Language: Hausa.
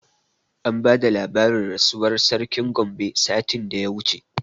An bada labarin rasuwar sarkin Gombe satin da ya wuce